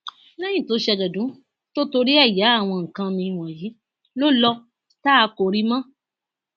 lẹyìn tó ṣe àjọdún tó torí ẹ ya àwọn nǹkan mi wọnyí ló lọ tá a kò rí i mọ